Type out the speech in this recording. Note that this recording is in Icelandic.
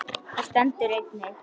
Þar stendur einnig